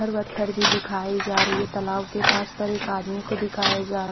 पत्थर वथ्थर भी दिखाई जा रही है तलाब के पास पर एक आदमी को दिखाया जा--